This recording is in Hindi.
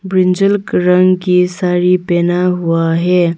ब्रिंजल रंग के साड़ी पहना हुआ है।